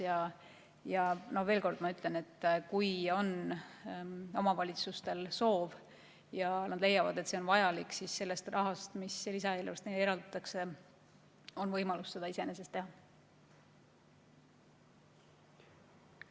Ma ütlen veel kord, et kui omavalitsustel on soovi ja nad leiavad, et see on vajalik, siis sellest rahast, mis lisaeelarvega neile eraldatakse, on neil võimalik seda.